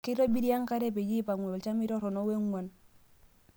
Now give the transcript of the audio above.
Keitobiri enkare peyie eipangu olchamei toronok wengwan.